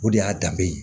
O de y'a danbe ye